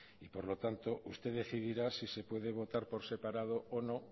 y por lo tanto usted decidirá si se puede votar por separado o no